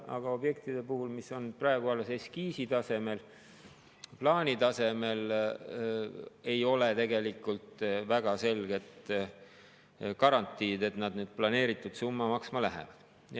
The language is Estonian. Aga objektide puhul, mis on praegu alles eskiisi tasemel, plaani tasemel, ei ole tegelikult väga selgelt garantiid, et nad planeeritud summa maksma lähevad.